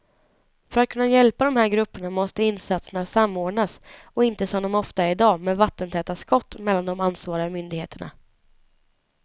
För att kunna hjälpa de här grupperna måste insatserna samordnas och inte som det ofta är idag med vattentäta skott mellan de ansvariga myndigheterna.